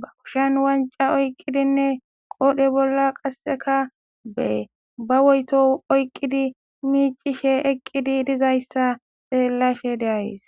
ba qushan wanca oyqqidinne qoodhe bolla qasseka be ba woyto oyqqidi miicishe eqqidi dizayssa xeellashe deayes.